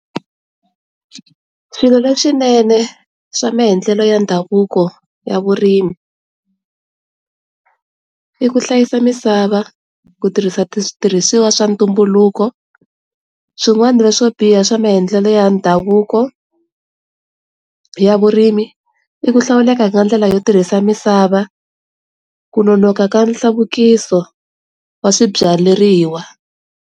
Swilo leswinene swa maendlelo ya ndhavuko ya vurimi, i ku hlayisa misava, ku tirhisa switirhisiwa swa ntumbuluko swin'wana swo biha swa maendlelo ya ndhavuko ya vurimi i ku hlawuleka ka ndlela yo tirhisa misava, ku nonoka ka nhluvukiso wa swibyariwa.